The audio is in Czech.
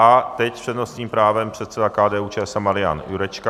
A teď s přednostním právem předseda KDU-ČSL Marian Jurečka.